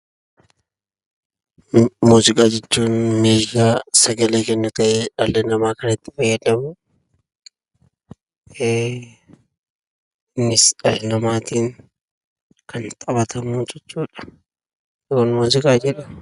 Muuziqaa jechuun meeshaa sagalee kennuu ta'e, dhalli namaa kan itti fayyadamuu. innis dhala namatiin kan taphatamuu jechuudha. Kun muuziqaa jedhama.